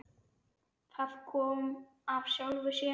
Það kom af sjálfu sér.